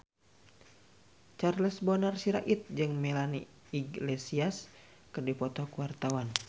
Charles Bonar Sirait jeung Melanie Iglesias keur dipoto ku wartawan